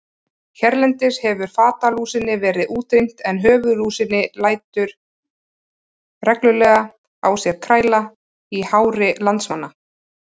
Hérlendis hefur fatalúsinni verið útrýmt en höfuðlúsin lætur reglulega á sér kræla í hári landsmanna.